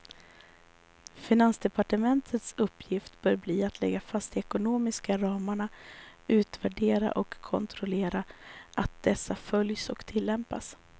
Finansdepartementets uppgift bör bli att lägga fast de ekonomiska ramarna, utvärdera och kontrollera att dessa följs och tillämpas.